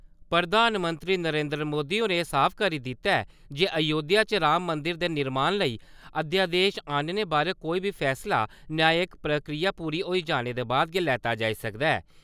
प्रधानमंत्री नरेन्द्र मोदी होरें एह् साफ करी दित्ता ए जे अयोध्या च राम मंदर दे निर्माण लेई अध्यादेश आह्‌नने बारै कोई बी फैसला, न्यायिक प्रक्रिया पूरी होई जाने दे बाद गै लैता जाई सकदा ऐ।